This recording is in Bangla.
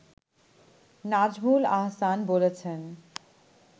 নাজমুল আহসান বলেছেন